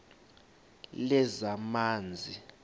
lezamanzi